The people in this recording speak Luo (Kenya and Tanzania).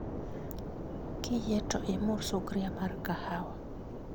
Kiyie to imur sugria mar kahawa